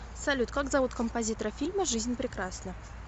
салют как зовут композитора фильма жизнь прекрасна